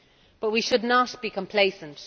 But we should not be complacent.